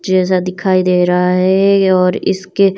चेजा दिखाई दे रहा हैं और इसके--